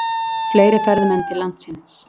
Fleiri ferðamenn til landsins